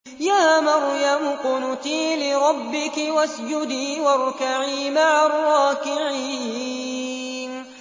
يَا مَرْيَمُ اقْنُتِي لِرَبِّكِ وَاسْجُدِي وَارْكَعِي مَعَ الرَّاكِعِينَ